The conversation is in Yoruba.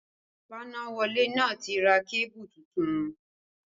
Fanáwọlé náà ti ra kébù tuntun